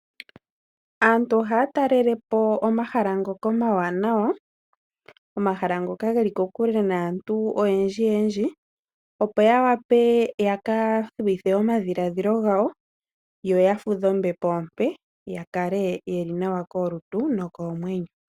Aantu ohaya taalelapo omahala ngoka omawanawa, omahala ngoka geli kokule naantu oyendji yendji, opo yawape ya kathuwithe omadhiladhilo gawo, yoya fudhe ombepo ompe yakale yeli nawa kolutu nokoomwenyo.